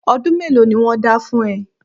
Ọdún mélòó ni wọ́n dá fún ẹ?